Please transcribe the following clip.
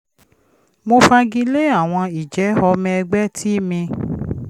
mo fagilé àwọn ìjẹ́ ọmọ ẹgbẹ́ tí mi